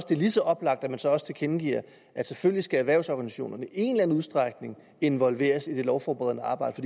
det er lige så oplagt at man så også tilkendegiver at selvfølgelig skal erhvervsorganisationerne i en eller anden udstrækning involveres i det lovforberedende arbejde